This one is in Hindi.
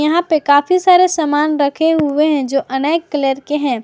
यहां पे काफी सारे सामान रखे हुए हैं जो अनेक कलर के हैं।